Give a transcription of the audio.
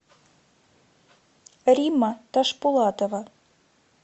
римма ташпулатова